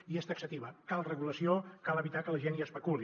i és taxativa cal regulació cal evitar que la gent hi especuli